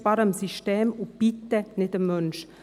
sparen am System und bitte nicht am Menschen.